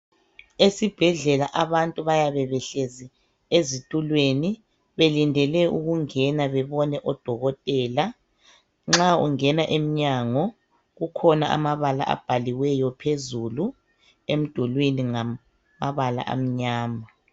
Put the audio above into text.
Esibhedlela abantu bayabe behlezi ezitulweni belindele ukungena bebone odokotela. Nxa ungena emnyango kukhona amabala abhaliweyo phezulu emdulwini ngamabala amnyama.